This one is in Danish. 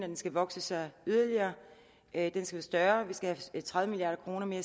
den skal vokse yderligere at den skal være større at vi skal have tredive milliard kroner mere